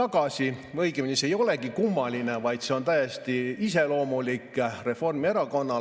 Või õigemini, see ei olegi kummaline, vaid see on täiesti iseloomulik Reformierakonnale.